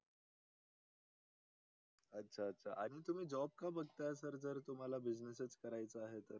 अच्छा अच्छा आणि तुम्ही job का बगता आहेत sir जर तुम्हाला business करायचा आहे तर